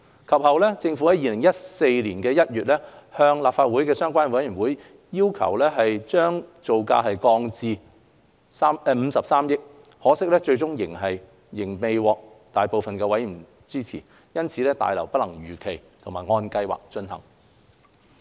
及後，政府於2014年1月按立法會相關委員會的要求將造價降低至53億元，可惜最終仍未獲大部分委員支持，大樓因此不能如期和按計劃進行。